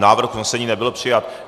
Návrh usnesení nebyl přijat.